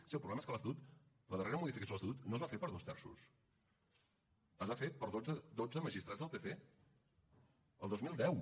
sí el problema és que l’estatut la darrera modificació de l’estatut no es va fer per dos terços es va fer per dotze magistrats del tc el dos mil deu